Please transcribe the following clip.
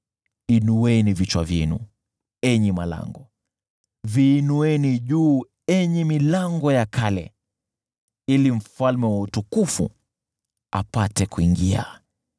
Inueni vichwa vyenu, enyi malango, viinueni juu enyi milango ya kale, ili Mfalme wa utukufu apate kuingia.